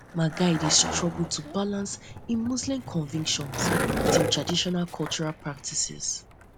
my guy dey struggle um to balance im im muslim convictions um wit im traditional cultural practices